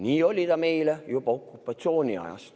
Nii oli ta meil juba okupatsiooniajal.